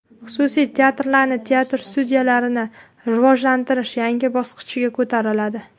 Xususiy teatrlarni, teatr-studiyalarni rivojlantirish yangi bosqichga ko‘tariladi.